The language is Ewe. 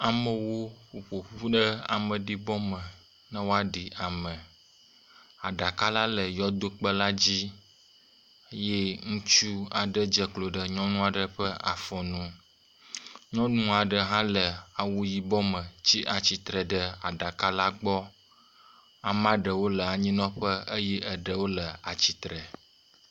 Amewo woƒo ƒu ɖe ameɖibɔme ne woaɖi ame. Aɖaka la le yɔdokpe la dzi eye ŋutsu aɖe dze klo ɖe nyɔnu aɖe ƒe afɔ nu. Nyɔnu aɖe hã le awu yibɔ me tsi atsitre ɖe aɖaka la gbɔ. Ame aɖewo le anyinɔƒe eye ɖewo le atsitre.